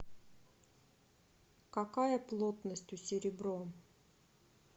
какая плотность у серебро